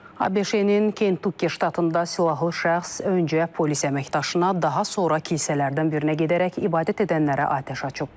ABŞ-nin Kentukki ştatında silahlı şəxs öncə polis əməkdaşına, daha sonra kilsələrdən birinə gedərək ibadət edənlərə atəş açıb.